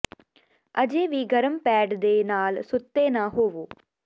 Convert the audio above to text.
ਅਜੇ ਵੀ ਗਰਮ ਪੈਡ ਦੇ ਨਾਲ ਸੁੱਤੇ ਨਾ ਹੋਵੋ